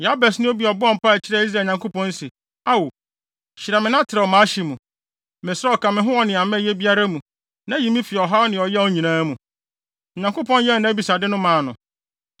Yabes ne obi a ɔbɔɔ mpae kyerɛɛ Israel Nyankopɔn se, “Ao, hyira me na trɛw mʼahye mu. Mesrɛ wo, ka me ho wɔ nea mɛyɛ biara mu, na yi me fi ɔhaw ne ɔyaw nyinaa mu.” Na Onyankopɔn yɛɛ nʼabisade no maa no.